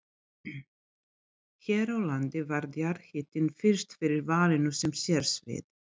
Hér á landi varð jarðhitinn fyrst fyrir valinu sem sérsvið.